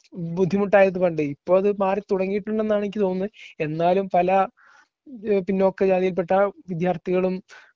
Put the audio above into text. ബുദ്ധിമുട്ടായതുകൊണ്ട് ഇപ്പോ അത് മാറി തുടങ്ങിയിട്ടുണ്ടെന്നാണ് എനിക്ക് തോന്നുന്നെ. എന്നാലും പല ഏഹ് പിന്നോക്ക ജാതിയിൽ പെട്ട വിദ്യാർഥികളും